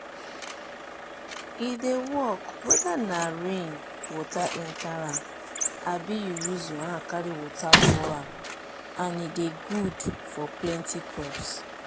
e dey work weda na rain water enta am abi u use your hand carry water pour am and e dey good for plenti crops